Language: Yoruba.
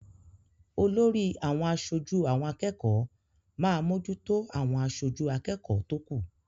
Olórí àwọn aṣojú àwọn akẹ́kọ̀ọ́ máa mójútó àwọn aṣojú akẹ́kọ̀ọ́ tó kù.